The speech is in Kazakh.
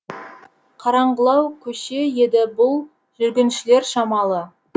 қараңғылау көше еді бұл жүргіншілер шамалы